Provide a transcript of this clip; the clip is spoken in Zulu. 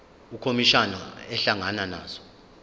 ukhomishana ehlangana nazo